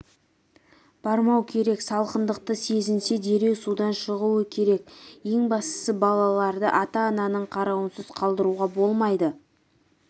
бармау керек салқындықты сезінсе дереу судан шығуы керек ең бастысы балаларды ата-ананың қаруынсыз қалдыруға болмайды